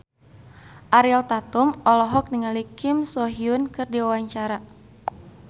Ariel Tatum olohok ningali Kim So Hyun keur diwawancara